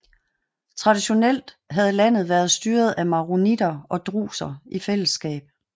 Traditionelt havde landet været styret af maronitter og druser i fællesskab